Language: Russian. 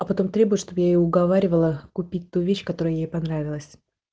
а потом требует чтобы я её уговаривала купить ту вещь которая ей понравилась